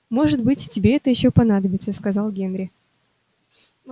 может быть тебе это ещё понадобится сказал генри